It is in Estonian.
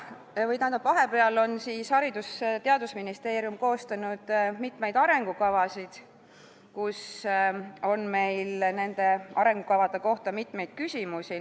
Vahepeal on Haridus- ja Teadusministeerium koostanud mitmeid arengukavasid, mille kohta meil on tekkinud mitmeid küsimusi.